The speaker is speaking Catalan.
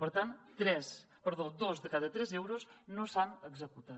per tant dos de cada tres euros no s’han executat